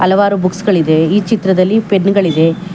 ಹಲವಾರು ಬುಕ್ಸ್ ಗಳಿದೆ ಈ ಚಿತ್ರದಲ್ಲಿ ಪೆನ್ ಗಳಿದೆ.